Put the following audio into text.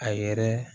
A yɛrɛ